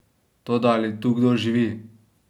Toda ali tu kdo živi?